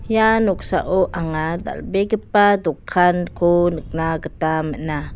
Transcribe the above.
ia noksao anga dal·begipa dokanko nikna gita man·a.